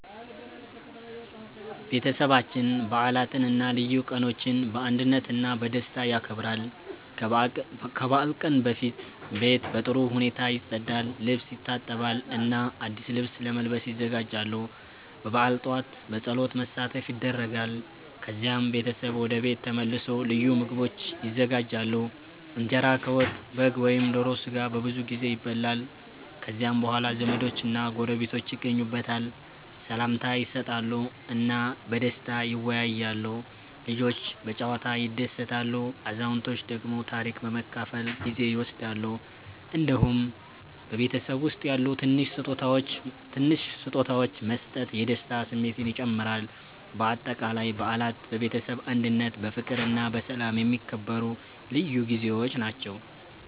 ቤተሰባችን በዓላትን እና ልዩ ቀኖችን በአንድነት እና በደስታ ያከብራል። ከበዓል ቀን በፊት ቤት በጥሩ ሁኔታ ይጸዳል፣ ልብስ ይታጠባል እና አዲስ ልብስ ለመልበስ ይዘጋጃሉ። በበዓል ጠዋት በጸሎት መሳተፍ ይደረጋል፣ ከዚያም ቤተሰብ ወደ ቤት ተመልሶ ልዩ ምግቦች ይዘጋጃሉ። እንጀራ ከወጥ፣ በግ ወይም ዶሮ ስጋ በብዙ ጊዜ ይበላል። ከዚያ በኋላ ዘመዶችና ጎረቤቶች ይጎበኛሉ፣ ሰላምታ ይሰጣሉ እና በደስታ ይወያያሉ። ልጆች በጨዋታ ይደሰታሉ፣ አዛውንቶች ደግሞ ታሪክ በመካፈል ጊዜ ይወስዳሉ። እንዲሁም በቤተሰብ ውስጥ ያሉ ትንሽ ስጦታዎች መስጠት የደስታ ስሜትን ይጨምራል። በአጠቃላይ በዓላት በቤተሰብ አንድነት፣ በፍቅር እና በሰላም የሚከበሩ ልዩ ጊዜዎች ናቸው።